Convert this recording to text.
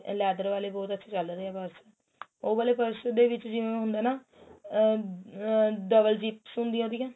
ਇਹ leather ਵਾਲੇ ਬਹੁਤ ਅੱਛੇ ਚੱਲ ਰਹੇ ਹੈ ਬੱਸ ਉਹ ਵਾਲੇ purse ਦੇ ਵਿੱਚ ਜਿਵੇਂ ਹੁੰਦਾ ਨਾ ਆ ਆ double zips ਹੁੰਦਿਆ ਉਹਦੀਆ